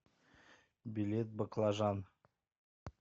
билет баклажан